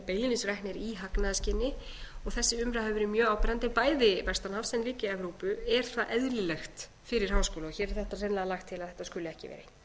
beinlínis reknir í hagnaðarskyni og þessi umræða hefur verið mjög áberandi bæði vestan hafs en líka í evrópu er það eðlilegt fyrir háskóla hér er þetta hreinlega lagt til að þetta skuli ekki